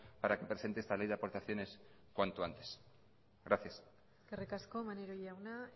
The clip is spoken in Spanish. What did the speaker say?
para que presente esta ley de aportaciones cuanto antes gracias eskerrik asko maneiro jauna